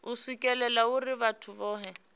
u swikelelwa uri vhathu vhohe